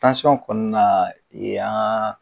Tansiyɔn kɔni na yan